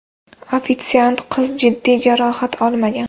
Ofitsiant qiz jiddiy jarohat olmagan.